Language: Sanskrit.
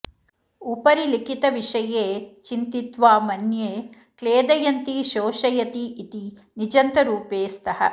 उपरि लिखितविषये चिन्तित्वा मन्ये क्लेदयन्ति शोषयति इति णिजन्तरूपे स्तः